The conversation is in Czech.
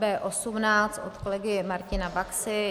B18 od kolegy Martina Baxy.